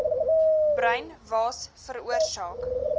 bruin waas veroorsaak